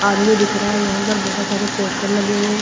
आदमी दिख रहा है यहां पर बहुत सारे पोस्टर लगे हुए हैं।